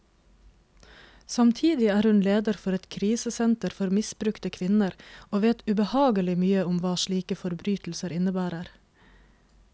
Samtidig er hun leder for et krisesenter for misbrukte kvinner, og vet ubehagelig mye om hva slike forbrytelser innebærer.